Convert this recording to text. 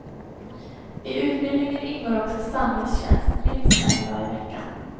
I utbildningen ingår också samhällstjänst minst en dag i veckan.